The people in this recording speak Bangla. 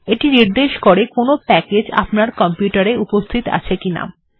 এটি নির্দেশ করে কোনো প্যাকেজ্ আপনার কম্পিউটার এ উপস্থিত আছে কিনা